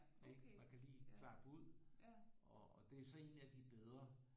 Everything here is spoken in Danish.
Man kan lige klappe ud og det er så en af de bedre